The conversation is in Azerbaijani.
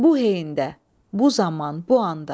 Bu heyyndə, bu zaman, bu anda.